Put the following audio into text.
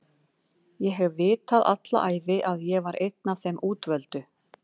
Ég hef vitað alla ævi að ég var einn af þeim útvöldu